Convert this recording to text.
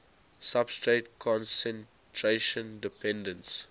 substrate concentration dependence